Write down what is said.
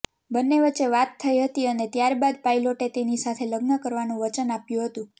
બંને વચ્ચે વાત થઈ હતી અને ત્યારબાદ પાયલોટે તેની સાથે લગ્ન કરવાનું વચન આપ્યું હતું